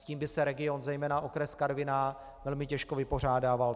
S tím by se region, zejména okres Karviná, velmi těžko vypořádával.